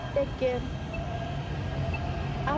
take care आप